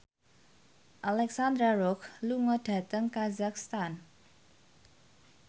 Alexandra Roach lunga dhateng kazakhstan